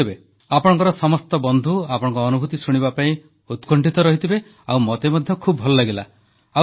ହଉ ଆପଣଙ୍କର ସମସ୍ତ ବନ୍ଧୁ ଆପଣଙ୍କ ଅନୁଭୂତି ଶୁଣିବା ପାଇଁ ଉତ୍କଣ୍ଠିତ ଥିବେ ଆଉ ମତେ ମଧ୍ୟ ଭଲ ଲାଗିଲା